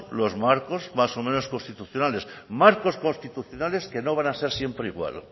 los marcos más o menos constitucionales marcos constitucionales que no van a ser siempre igual